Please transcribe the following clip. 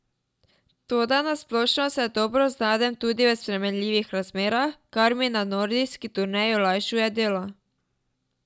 Toda na splošno se dobro znajdem tudi v spremenljivih razmerah, kar mi na nordijski turneji olajšuje delo.